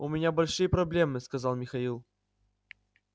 у меня большие проблемы сказал михаил